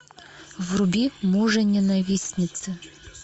вруби мужененавистницы